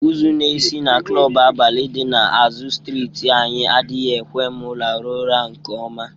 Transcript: Ụzụ na-esi na klọbụ abalị dị na azụ strịtị anyị adịghị ekwe m rahụ ụra nke ọma.